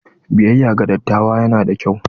Biyayya ga dattawa yana da kyau.